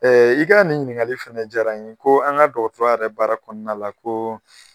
I ka nin ɲininkali fana diyara n ye , ko an ka dɔgɔtɔrɔya yɛrɛ baara kɔnɔna la ko